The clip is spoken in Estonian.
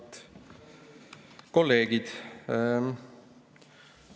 Head kolleegid!